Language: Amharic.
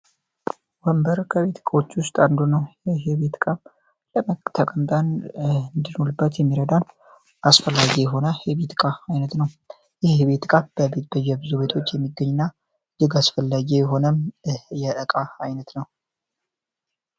ወንበር ከቤት እቃዎቹ ውስጥ አንዱ ነው። ይህ የቤት እቃም ለመተቀምጣን እንድኖልበት የሚረዳን አስፈላጊ የሆነ ህቢጥቃ አይነት ነው። ይህ የቤት እቃ በቤት ብዙ ቤቶች የሚገኝና እጅግ አስፈላጊ የሆነም የጠቃላይ የቤት አይነት ነው።